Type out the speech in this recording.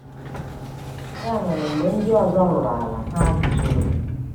Ya mere, mgbe ndị ọzọ ruru ala, ha guzoro.